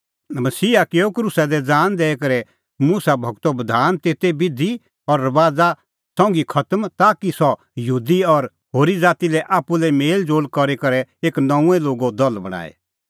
मसीहा किअ क्रूसा दी ज़ान दैई करै मुसा गूरो बधान तेते बिधी और रबाज़ा संघी खतम ताकि सह यहूदी और होरी ज़ातीओ आप्पू लै मेल़ज़ोल़ करी करै एक नऊंअ लोगो दल बणांए